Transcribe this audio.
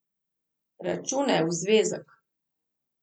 Računaj v zvezek.